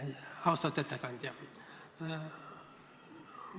Austatud ettekandja!